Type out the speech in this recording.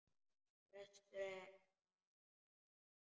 Prestur að norðan!